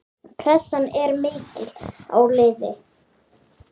Pressan er mikil á liðið.